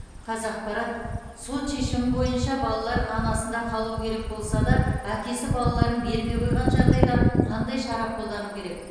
қазақпарат сот шешімі бойынша балалар анасында қалуы керек болса да әкесі балаларын бермей қойған жағдайда қандай шара қолдану керек